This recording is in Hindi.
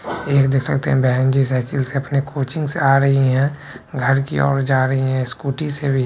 ये देख सकते हे बेहनजी सायकल से अपने कोचिंगसे आ रही है घर की ओर जा रही है स्कूटी से भी --